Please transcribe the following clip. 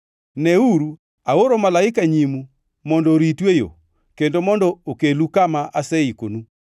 “Neuru, aoro malaika nyimu mondo oritu e yo kendo mondo okelu kama aseikonu.